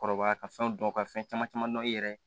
Kɔrɔbaya ka fɛnw dɔn ka fɛn caman caman dɔn i yɛrɛ ye